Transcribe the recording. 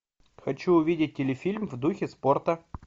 хочу увидеть телефильм в духе спорта